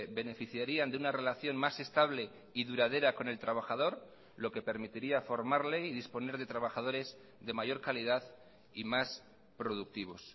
beneficiarían de una relación más estable y duradera con el trabajador lo que permitiría formarle y disponer de trabajadores de mayor calidad y más productivos